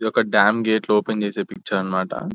ఒక డ్యామ్ గేట్లు ఓపెన్ చేసే పిక్చర్ అన్నమాట --